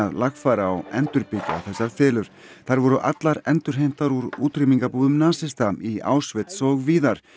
lagfæra og endurbyggja þessar fiðlur þær voru allar endurheimtar úr útrýmingarbúðum nasista í Auschwitz og víðar